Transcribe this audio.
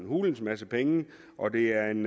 hulens masse penge og det er en